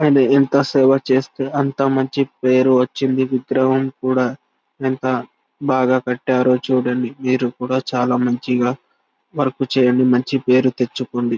ఆయన ఎంత సేవ చేస్తే అంత మంచి పేరు వచ్చింది విగ్రహం కూడా ఎంత బాగా కట్టారో చూడండి మీరు కూడా చాలా మంచిగా వర్క్ చెయ్యండి మంచి పేరు తెచ్చుకోండి .